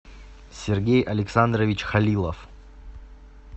сергей александрович халилов